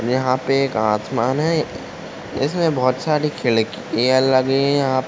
यहाँ पे एक आसमान है इसमें बहोत साड़ी खिड़कियाँ लगी हुई है यहाँ --